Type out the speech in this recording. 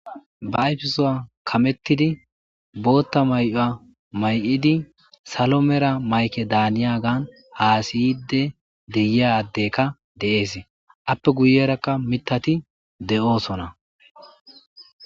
Ba ayfesowa kamettidi bootta may'ia may'idi salo mera mayke daaniya gaan haasiyide deyiyaaddekka de'ees appe guyerakka mitati de'oosona